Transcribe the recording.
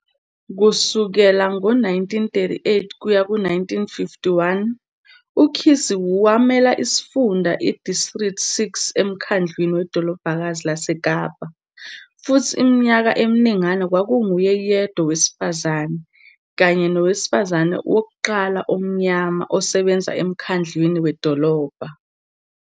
Kusukela ngo-1938 ukuya ku-1951, uCissie wamela iSifunda iDistrict Six eMkhandlwini weDolobhakazi laseKapa, futhi iminyaka eminingana kwakunguye yedwa owesifazane, kanye nowesifazane wokuqala omnyama, osebenza eMkhandlwini Wedolobha.